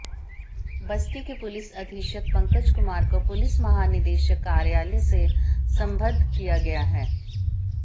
बस्ती के पुलिस अधीक्षक पंकज कुमार को पुलिस महानिदेशक कार्यालय से संबद्ध किया गया है